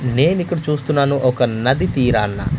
నేను ఇక్కడ చూస్తున్నాను ఒక నది తీరాన--